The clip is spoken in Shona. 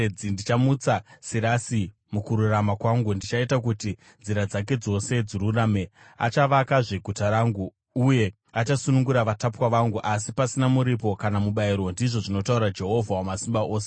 Ndichamutsa Sirasi mukururama kwangu: ndichaita kuti nzira dzake dzose dzirurame. Achavakazve guta rangu, uye achasunungura vatapwa vangu, asi pasina muripo kana mubayiro, ndizvo zvinotaura Jehovha Wamasimba Ose.”